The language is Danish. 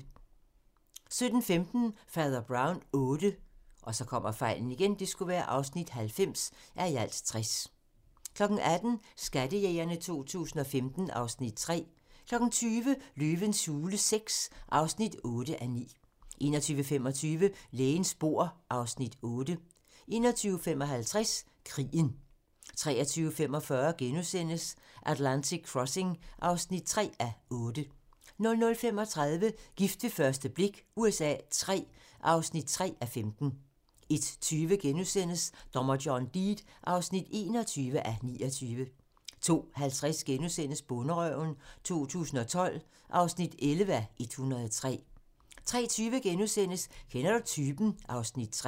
17:15: Fader Brown VIII (90:60) 18:00: Skattejægerne 2015 (Afs. 3) 20:00: Løvens hule VI (8:9) 21:25: Lægens bord (Afs. 8) 21:55: Krigen 23:45: Atlantic Crossing (3:8)* 00:35: Gift ved første blik USA III (3:15) 01:20: Dommer John Deed (21:29)* 02:50: Bonderøven 2012 (11:103)* 03:20: Kender du typen? (Afs. 3)*